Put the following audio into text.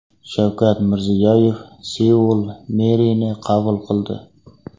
Shavkat Mirziyoyev Seul merini qabul qildi.